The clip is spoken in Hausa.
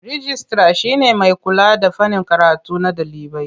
Rijistira shi ne mai kula da fannin karatu na ɗalibai.